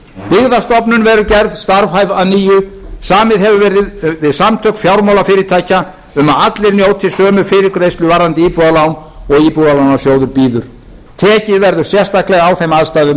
byggðastofnun verður gerð starfhæf að nýju samið hefur verið við samtök fjármálafyrirtækja um að allir njóti sömu fyrirgreiðslu varðandi íbúðalán og íbúðalánasjóður býður tekið verður sérstaklega á þeim aðstæðum